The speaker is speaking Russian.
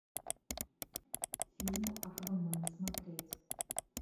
фильм аквамен смотреть